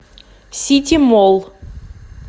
ситимолл